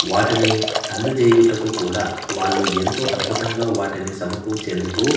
వాటిని అందజేయుటకు కూడా వాళ్ళు ఎంతో అద్భుతంగా వాటిని సమకూచేందుకు--